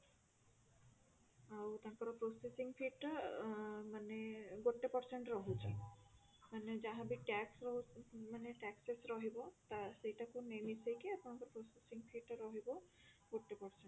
ଆଉ ତାଙ୍କର processing fee ଟା ଆ ମାନେ ଗୋଟେ percent ରହୁଛି ମାନେ ଯାହା ବି TAX ରହୁ ମାନେ taxes ରହିବ ତ ସେଇଟାକୁ ମିଶେଇକି ଆପଣଙ୍କ processing fee ଟା ରହିବ forty percent